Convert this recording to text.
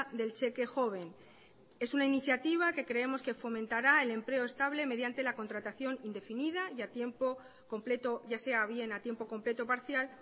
del cheque joven es una iniciativa que creemos que fomentara el empleo estable mediante la contratación indefinida y a tiempo completo ya sea bien a tiempo completo parcial